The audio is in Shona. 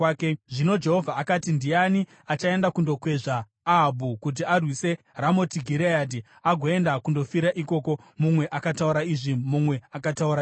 Zvino Jehovha akati, ‘Ndiani achaenda kundokwezva Ahabhu kuti arwise Ramoti Gireadhi agoenda kundofira ikoko?’ “Mumwe akataura izvi, mumwe akataura izvo.